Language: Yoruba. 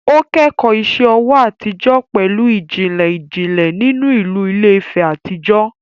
Ó kẹ́kọ̀ọ́ iṣẹ́ ọwọ́ àtijọ́ pẹ̀lú ìjìnlẹ̀ ìjìnlẹ̀ nínú ìlú Ilé-Ife àtijọ́